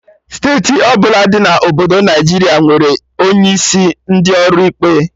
Steeti ọbụla dị na obodo Naijiria nwere onye isi ndị ọrụ ikpe